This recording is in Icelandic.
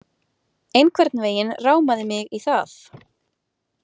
Einhvern veginn rámaði mig í það